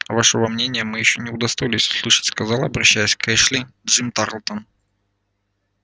а вашего мнения мы ещё не удостоились услышать сказал обращаясь к эшли джим тарлтон